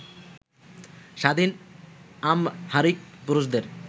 স্বাধীন আমহারিক পুরুষদের